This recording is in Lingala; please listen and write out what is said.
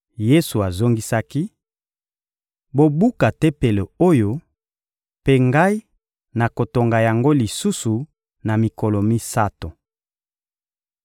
Yesu azongisaki: — Bobuka Tempelo oyo, mpe Ngai nakotonga yango lisusu na mikolo misato.